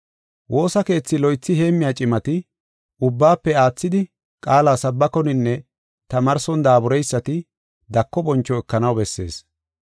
Woosa keethi loythi heemmiya cimati, ubbaafe aathidi, qaala sabbakoninne tamaarson daabureysati dako boncho ekanaw bessees.